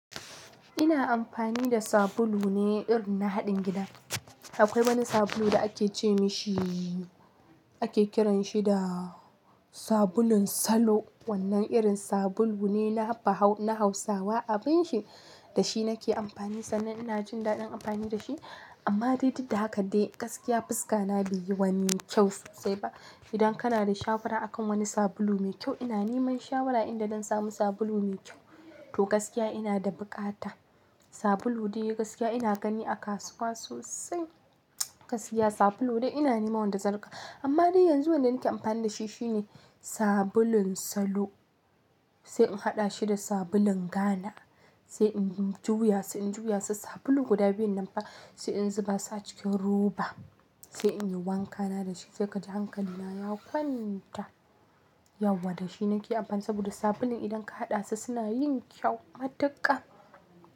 Ina amfani da sabulu ne irin na haɗin gida. Akwai wani sabulu da ake ce ma shi, ake kiran shi da sabulun salo. Wannan irin sabulu ne na Hausawa. Abin shi, da shi nake amfani sannan ina jin daɗin amfani da shi. Amma dai duk da haka dai gaskiya fuska na bai yi wani kyau sosai ba. Idan kana da shawara akan wani sabulu mai kyau, ina neman shawara inda zan samu sabulu mai kyau. To gaskiya ina da buƙata. Sabulun dai gaskiya ina gani a kasuwa sosai. Gaskiya sabulu dai ina neman wanda zan rika amma dai yanzu wanda nake amfani da shi shine sabulun salo sai in haɗa shi da sabulun Ghana sai in juya, sai in juya su sabulu guda biyun nan fa, sai in zuba su a cikin roba sai in yi wankana da shi sai ka ji hankali na ya kwanta. Yauwa dashi nake amfani saboda sabulun idan ka haɗa su suna yin kyau matuƙa.